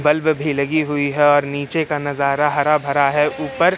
bulb भी लगी हुई है और नीचे का नजारा हरा भरा है ऊपर--